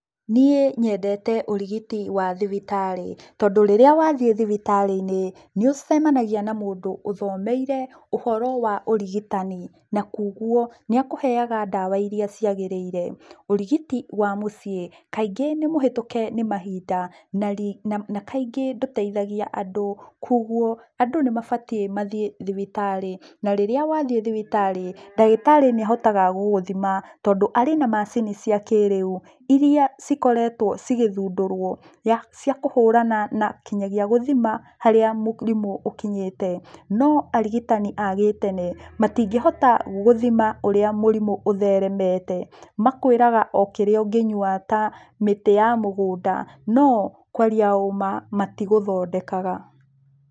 Niĩ nyendete ũrigiti wa thibitarĩ, tondũ rĩrĩa wathiĩ thibitarĩ-inĩ, nĩũcemanagia na mũndũ ũthomeire, ũhoro wa ũrigitani, na kuoguo, nĩakũheaga ndawa iria ciagĩrĩire. Ũrigiti wa mũciĩ, kaingĩ nĩmũhĩtũke nĩmahinda, na kaingĩ ndũteithagia andũ, kuoguo, andũ nĩmabatie mathiĩ thibitarĩ, na rĩrĩa wathiĩ thibitarĩ, ndagĩtarĩ nĩahotaga gũgũthima, tondũ arĩ na macini cia kĩrĩu, iria cikoretũo cigĩthundũrũo, ya cia kũhũrana na kinyagia gũthima harĩa mũrimũ ũkinyĩte. No arigitani a-gĩtene, matingĩhota gũthima ũrĩa mũrimũ ũtheremete. Makwĩraga o kĩrĩa ũngĩnyua ta mĩtĩ ya mũgũnda, no, kwaria ũma, matigũthondekaga.